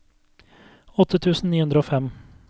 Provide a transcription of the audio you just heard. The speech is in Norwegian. åtte tusen ni hundre og fem